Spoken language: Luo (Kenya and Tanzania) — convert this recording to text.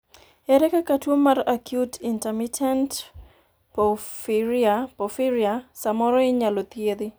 ere kaka tuo mar acute intermittent porphyria samoro inyalo thiedhi?